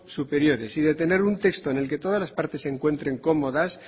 superiores y de tener un texto en el que todas las partes se encuentren cómodas